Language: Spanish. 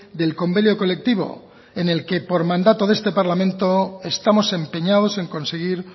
del convenio colectivo en el que por mandato de este parlamento estamos empeñados en conseguir